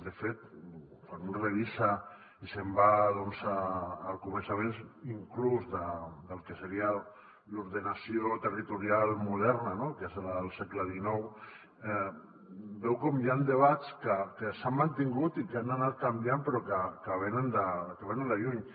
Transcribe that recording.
de fet quan un revisa i se’n va doncs al començament inclús del que seria l’ordenació territorial moderna no que és la del segle xix veu com hi han debats que s’han mantingut i que han anat canviant però que venen de lluny